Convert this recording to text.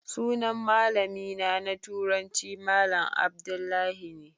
Sunan malamina na turanci malam Abdullahi ne.